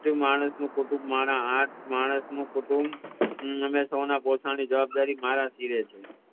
માણસ નું કુટુંબ મારા આઠ માણસ નું કુટુંબ અમે સૌના જોતાની જવાબદારી મારા પાર રે છે